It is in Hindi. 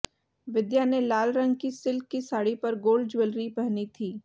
विद्या ने लाल रंग की सिल्क की साड़ी पर गोल्ड ज्वेलरी पहनी थी